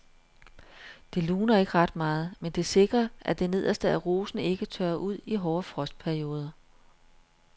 Det luner ikke ret meget, men det sikrer at det nederste af rosen ikke tørrer ud i hårde frostperioder.